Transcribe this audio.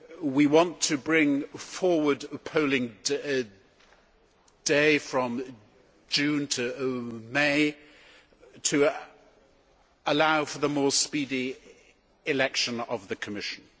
We want to bring forward a polling day from June to May to allow for the more speedy election of the Commission.